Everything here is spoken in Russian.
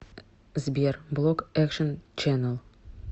сбер блок экшен ченнэл